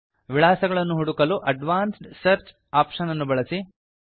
ವಿಳಾಸಗಳನ್ನು ಹುಡುಕಲು advanced search option ಅನ್ನು ಬಳಸಿ